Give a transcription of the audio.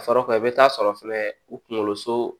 A faraw i bɛ taa sɔrɔ fɛnɛ u kunkolo so